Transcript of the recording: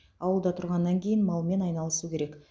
ауылда тұрғаннан кейін малмен айналысу керек